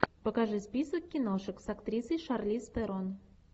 покажи список киношек с актрисой шарлиз терон